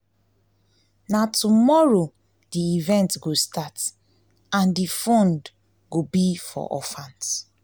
na tomorrow the event go start and the fund go be for orphans